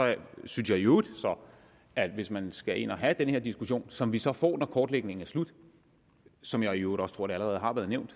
synes jeg i øvrigt at hvis man skal ind at have den her diskussion som vi så får når kortlægningen er slut som jeg i øvrigt også tror det allerede har været nævnt